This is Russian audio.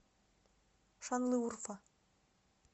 шанлыурфа